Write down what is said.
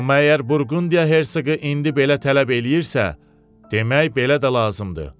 Amma əgər Burqundiya Hersoqu indi belə tələb eləyirsə, demək belə də lazımdır.